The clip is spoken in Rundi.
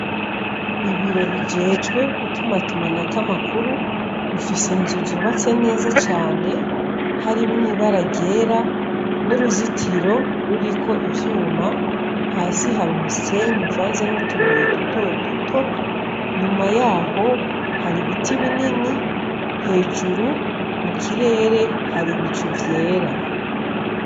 Ibiro bijejwe gutumatumanako amakuru bifise inzu zubatse neza harimwo ibara ryera nuruzitiro ruriko ivyuma hasi hari umusenyi uvanze nutubuye dutoduto nyuma yaho hari ibiti binini hejuru mukirere hari ibicu vyera